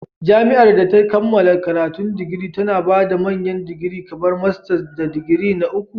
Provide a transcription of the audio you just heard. Jami'ar da ta kammala karatun digiri tana ba da manyan digiri kamar masters da digiri na uku.